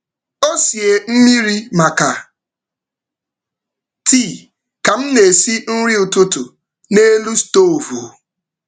Ọ sie mmiri maka tii ka m na-esi nri ụtụtụ n’elu stovu.